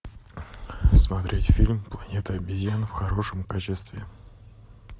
смотреть фильм планета обезьян в хорошем качестве